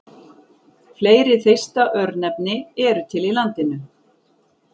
Fleiri Þeista-örnefni eru til í landinu.